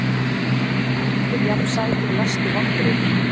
Allir jafn sætir Mestu vonbrigði?